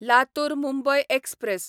Latur Mumbai express